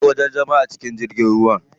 Akwai wajajen zama a cikin jirgin ruwa.